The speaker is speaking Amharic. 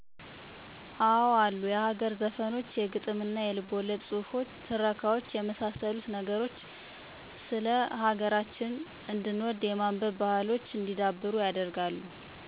አወ አሉ የሀገር ዘፈኖች የግጥምና የልቦለድ ጹህፎች ትረካዋች የመሳሰሉት ነገሮች ስለ ሀገር እንድንወድ የማንበብ ባሕሎች እንዲዳብሩ ያደርጋሉ።